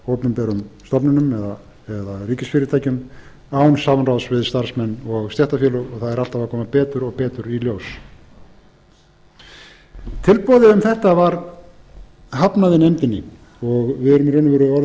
opinberum stofnunum eða ríkisfyrirtækjum án samráðs við starfsmenn og stéttarfélög það er alltaf að koma betur og betur í ljós tilboði um þetta var hafnað í nefndinni við erum í raun og veru orðin ákaflega